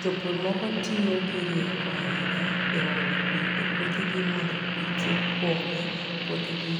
Jopur moko tiyo gi rieko ahinya e olo pi e puothegi mondo pi kik pong' e puothegi